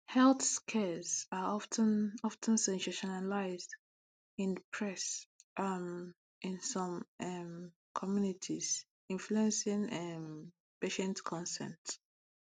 health scares are of ten of ten sensationalized in the press um in some um communities influencing um patient consent